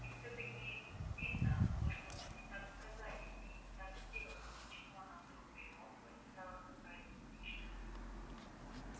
и всё таки видно мы что то не так сказали или не так сделали почему она вдруг примолкла и стала какая то скучная